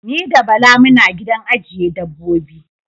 Ni da Bala muna gidan ajjiye dabbobi.